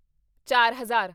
ਚਾਰ ਹਜ਼ਾਰ